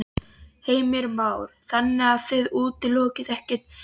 Heimir Már: Þannig að þið útilokið ekkert verkfallsaðgerðir?